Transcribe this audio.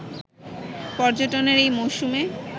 পর্যটনের এই মৌসুমে